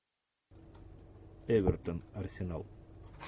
эвертон арсенал